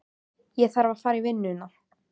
Ég þarf að fara í vinnuna.